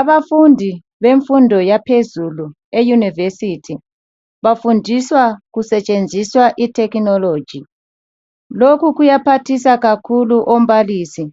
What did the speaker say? Abafundi bemfundo yaphezulu eyunivesithi bafundiswa kusetshenziswa ithekhinoloji lokhu kuya kuyaphathisa kakhulu ombalisi